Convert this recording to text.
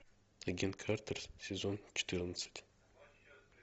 агент картер сезон четырнадцать